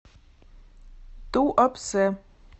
туапсе